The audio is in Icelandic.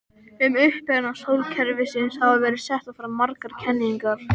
Um uppruna sólkerfisins hafa verið settar fram margar kenningar.